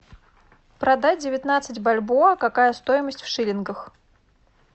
продать девятнадцать бальбоа какая стоимость в шиллингах